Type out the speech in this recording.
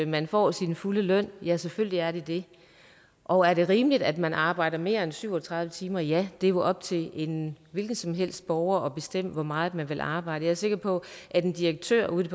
man får sin fulde løn ja selvfølgelig er det det og er det rimeligt at man arbejder mere end syv og tredive timer ja det er jo op til en hvilken som helst borger at bestemme hvor meget man vil arbejde jeg er sikker på at en direktør ude i